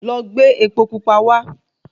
Lọ gbé epo Pupa wá